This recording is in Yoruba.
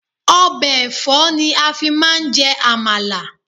Ọbẹ̀ ẹ̀fọ́ ni a fi máa ń jẹ àmàlà.